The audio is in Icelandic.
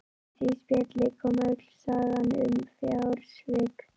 Í því spjalli kom öll sagan um fjársvik pabba.